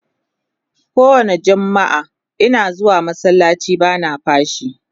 kowani jummaa Ina zuwa masallaci bana fashii